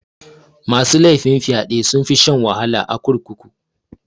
Masu laifin fyaɗe sunfi shan wahala a kurkuku.